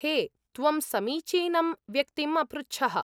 हे, त्वं समीचीनं व्यक्तिम् अपृच्छः।